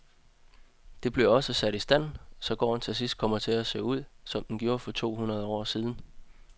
Det bliver også sat i stand, så gården til sidst kommer til at se ud, som den gjorde for to hundrede år siden.